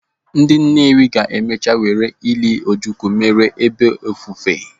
Ndị Nnewi ga-emecha were ịli Ojukwu mere ebe ofufe.